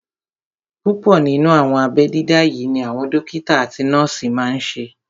Púpọ̀ nínú àwọn abẹ́ dídá yí ni àwọn dókítà àti nọ́ọ̀sì máa n ṣe